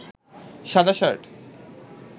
শাদা shirt